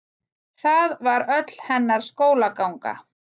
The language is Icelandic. það var öll hennar skólaganga